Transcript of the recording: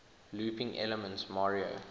looping elements mario